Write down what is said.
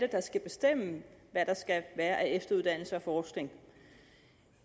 der skal bestemme hvad der skal være af efteruddannelse og forskning